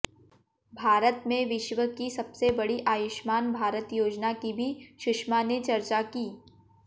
भारत में विश्व की सबसे बड़ी आयुष्मान भारत योजना की भी सुषमा ने चर्चा की